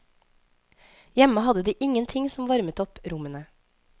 Hjemme hadde de ingenting som varmet opp rommene.